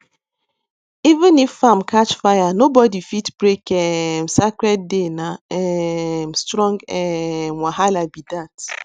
even if farm catch fire nobody fit break um sacred dayna um strong um wahala be dat